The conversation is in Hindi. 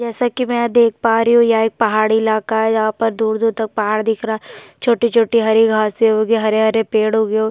जैसा कि मैं देख पा रही हूँ ये एक पहाड़ी इलाका है जहाँ पर दूर-दूर तक पहाड़ दिख रहा है छोटी-छोटी हरी घास हो गए हरे-हरे पेड़ उगे --